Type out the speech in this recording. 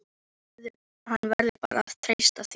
Hann verður bara að treysta því.